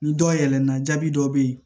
Ni dɔ yɛlɛna jaabi dɔ be ye